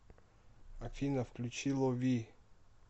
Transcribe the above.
афина включи лови